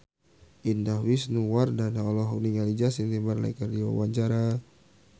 Indah Wisnuwardana olohok ningali Justin Timberlake keur diwawancara